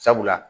Sabula